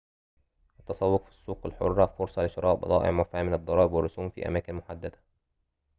التسوق في السوق الحرة فرصة لشراء بضائع معفاة من الضرائب والرسوم في أماكن محددة